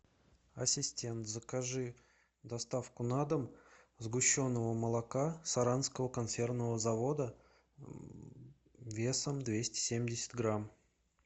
ассистент закажи доставку на дом сгущенного молока саранского консервного завода весом двести семьдесят грамм